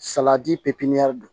Salati pipiniyɛri don